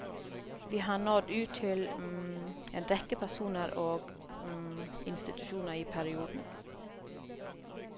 Vi har nådd ut til en rekke personer og institusjoner i perioden.